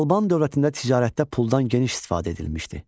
Alban dövlətində ticarətdə puldan geniş istifadə edilmişdir.